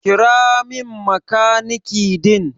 Kira min makaniki din.